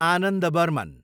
Anand Burman